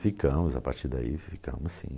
Ficamos, a partir daí ficamos sim.